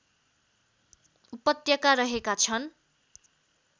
उपत्यका रहेका छन्